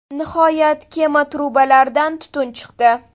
Nihoyat, kema trubalaridan tutun chiqdi.